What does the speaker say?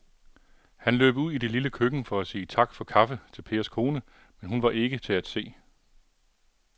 Han løb ud i det lille køkken for at sige tak for kaffe til Pers kone, men hun var ikke til at se.